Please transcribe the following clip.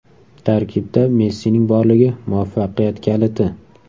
Tarkibda Messining borligi muvaffaqiyat kaliti.